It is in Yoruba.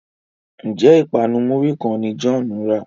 Njé ipanu muri kán ní John rà?